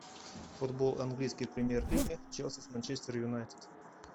футбол английской премьер лиги челси с манчестер юнайтед